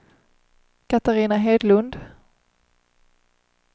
Katarina Hedlund